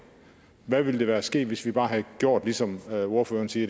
hvad ville der være sket hvis vi bare havde gjort ligesom ordføreren siger i